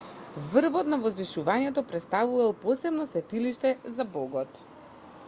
врвот на возвишувањето претставувал посебно светилиште за богот